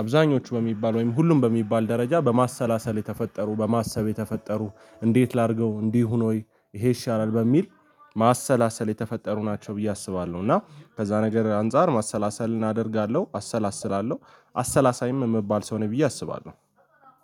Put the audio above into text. አብዛኞቹ በሚባል ወይም ሁሉም በሚባል ደረጃ በማሰላሰል የተፈጠሩ በማሰብ የተፈጠሩ እንዴት ላድርገው እንዲህ ይሁን ወይ? ይሄ ይሻላል በሚል ማሰላሰል የተፈጠሩ ናቸው ብዬ አስባለሁ። እና ከዛ ነገር አንፃር ማሰላሰልን አደርጋለሁ አሰላስላለሁ አሰላሳይም የምባል ሰው ነኝ ብዬ አስባለሁ።